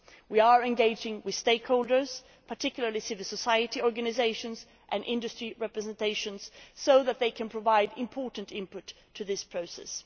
We are engaging with stakeholders, particularly civil society organisations and industry representations, so that they can provide important input to this process.